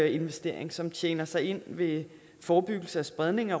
investering som tjener sig ind ved forebyggelse af spredning af